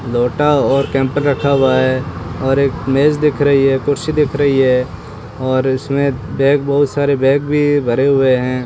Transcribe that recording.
लोटा और कैंपर रखा हुआ है और एक मेज दिख रही है कुर्सी दिख रही है और इसमें बैग बहुत सारे बैग भी भरे हुए हैं।